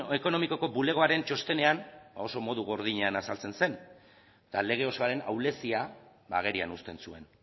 ekonomikoko bulegoaren txostenean oso modu gordinean azaltzen zen eta lege osoaren ahulezia agerian uzten zuen